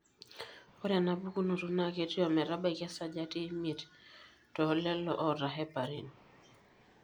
Ore ena pukunoto naa ketii ometamaiki esajati emiet tolelo ota heparin.